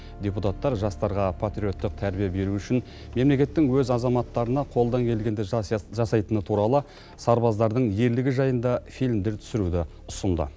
депутаттар жастарға патриоттық тәрбие беру үшін мемлекеттің өз азаматтарына қолдан келгенді жасайтыны туралы сарбаздардың ерлігі жайында фильмдер түсіруді ұсынды